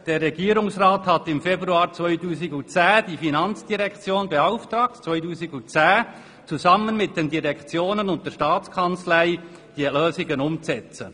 «Der Regierungsrat hat im Februar 2010 die FIN beauftragt, zusammen mit den Direktionen und der Staatskanzlei diese Lösungen umzusetzen.